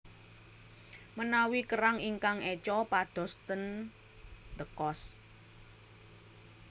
Menawi kerang ingkang eco padhos ten D'Cost